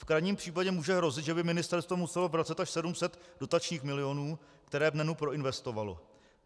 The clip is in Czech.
V krajním případě může hrozit, že by ministerstvo muselo vracet až 700 dotačních milionů, které v NEN proinvestovalo.